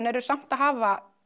eru samt að hafa